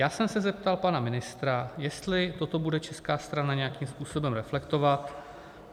Já jsem se zeptal pana ministra, jestli toto bude česká strana nějakým způsobem reflektovat.